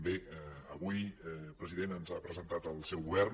bé avui president ens ha presentat el seu govern